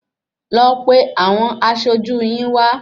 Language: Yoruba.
Lọ pe àwọn aṣojú yín wá